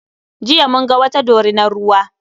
Jiya mun ga wata dorinar ruwa.